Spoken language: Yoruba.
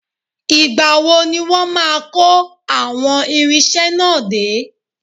Ìgbà wo ni wọ́n máa ko àwọn irinṣẹ́ náà dé?